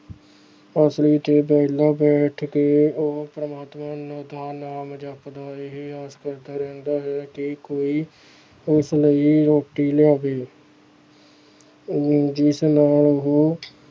ਆਲਸੀ ਤੇ ਵਿਹਲਾ ਬੈਠ ਕੇ ਉਹ ਪ੍ਰਮਾਤਮਾ ਦਾ ਨਾਮ ਜਪਦਾ ਇਹ ਆਸ ਕਰਦਾ ਰਹਿੰਦਾ ਹੈ ਕਿ ਕੋਈ ਉਸ ਨੂੰ ਰੋਟੀ ਲਿਆਵੇ ਜਿਸ ਨਾਲ ਉਹ